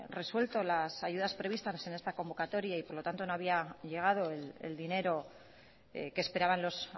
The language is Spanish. resuelta las ayudas previstas en esta convocatoria y por lo tanto no había llegado el dinero que esperaban los